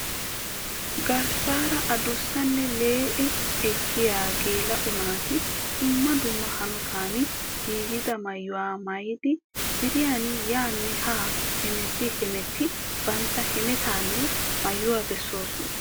Geesaara adussanne lee'i ekkiya geela'o naati dumma dumma hanotan giigida maayuwa maayidi ziiriyan yaanna haa hemetti hemetti bantta hemettaanne maayuwa bessoosona.